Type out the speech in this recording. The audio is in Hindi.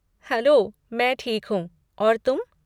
हैलो, मैं ठीक हूँ, और तुम?